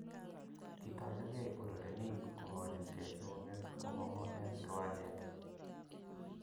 Kitorochke urerenik, kokochin ke eunek komangu eng kiwanjet